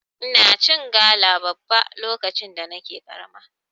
Ina cin gala babba lokacin da nake karama.